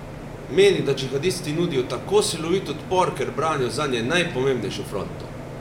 Meni, da džihadisti nudijo tako silovit odpor, ker branijo zanje najpomembnejšo fronto.